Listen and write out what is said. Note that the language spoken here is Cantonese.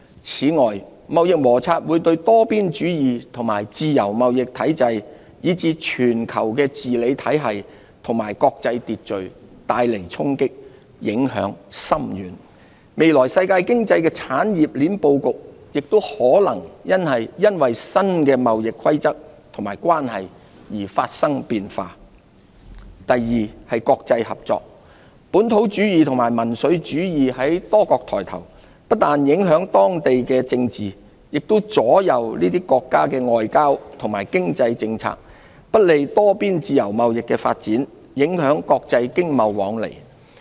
此外，貿易摩擦會對多邊主義和自由貿易體制，以至全球治理體系和國際秩序帶來衝擊，影響深遠。未來世界經濟的產業鏈布局亦可能因新的貿易規則和關係而發生變化。國際合作第二，本土主義和民粹主義在多國抬頭，不但影響當地政治，也左右這些國家的外交及經濟政策，不利多邊自由貿易的發展，影響國際經貿往來。